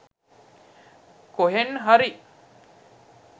කොහෙන් හරි